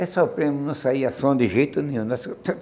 Aí sofremos, não saía som de jeito nenhum.